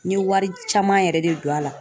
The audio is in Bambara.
N ye wari caman yɛrɛ de don a la .